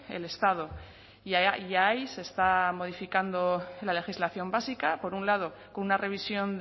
el estado y ahí se está modificando la legislación básica por un lado con una revisión